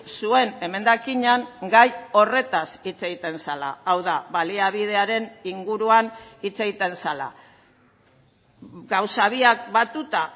zuen emendakinean gai horretaz hitz egiten zela hau da baliabidearen inguruan hitz egiten zela gauza biak batuta